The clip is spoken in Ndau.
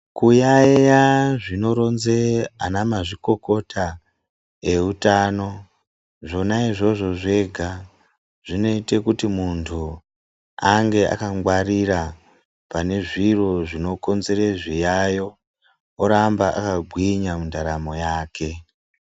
Kuyaiya zvinoronze anamazvikokota eutano, zvona izvozvo zvega, zvinoite kuti muntu ange akangwarira pane zviro zvinokonzere zviyayo, oramba akagwinya mundaramo yake.